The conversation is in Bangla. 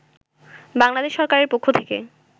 বাংলাদেশ সরকারের পক্ষ থেকে